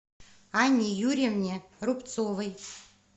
анне юрьевне рубцовой